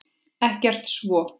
Ekkert svo.